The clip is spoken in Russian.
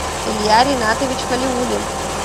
илья ринатович халиуллин